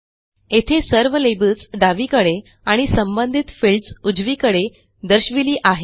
येथे सर्व लेबल्स डावीकडे आणि संबंधित फील्ड्स उजवीकडे दर्शविली आहेत